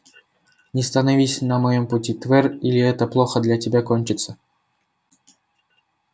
не становись на моём пути твер или это плохо для тебя кончится